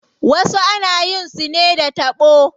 Wasu ana yin su ne da taɓo.